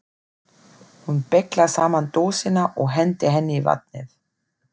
Hún beyglar saman dósina og hendir henni í vatnið.